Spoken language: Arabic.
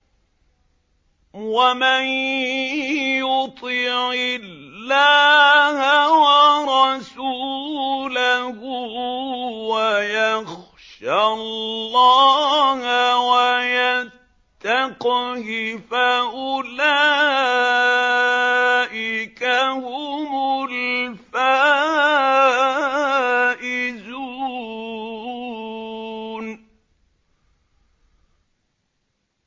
وَمَن يُطِعِ اللَّهَ وَرَسُولَهُ وَيَخْشَ اللَّهَ وَيَتَّقْهِ فَأُولَٰئِكَ هُمُ الْفَائِزُونَ